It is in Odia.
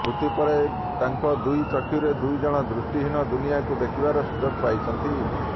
ମୃତ୍ୟୁ ପରେ ତାଙ୍କ ଦୁଇ ଚକ୍ଷୁରେ ଦୁଇଜଣ ଦୃଷ୍ଟିହୀନ ଦୁନିଆକୁ ଦେଖିବାର ସୁଯୋଗ ପାଇଛନ୍ତି